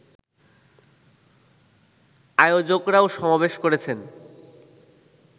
আয়োজকরাও সমাবেশ করেছেন